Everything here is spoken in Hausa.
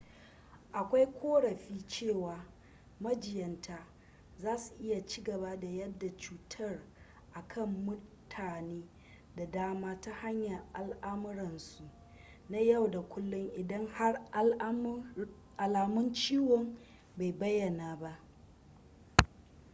akwai korafi cewa majinyatan zasu iya cigaba da yada cutar a kan mutane da dama ta hanyar alamuransu na yau da kullum idan har alamun ciwon bai bayana ba